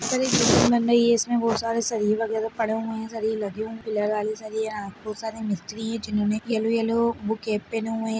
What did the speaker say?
बन रही है| इसमें बहुत सारे सरिये वगरे पड़े हुए हैं सरिये लगी है पिलर वाली सरिये हैं| बहुत सारे मिस्त्री हैं जिन्होंने येल्लो - येल्लो वो कैप पहने हुए हैं|